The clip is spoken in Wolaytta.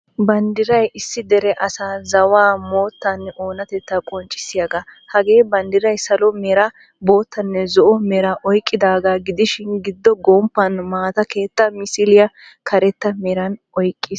Banddiray issi dere asaa zawaa, moottanne oonatetta qonccissiyaga. Hagee banddiray salo meera, boottaanne zo"onmeeraa oyqqidaga gidishin giddo gomppan maataa keetta misiliyaa karetta meeran oyqqiis.